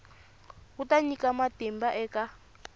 wu ta nyika matimba eka